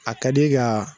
A ka di ka